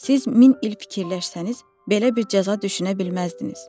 Siz min il fikirləşsəniz, belə bir cəza düşünə bilməzdiniz.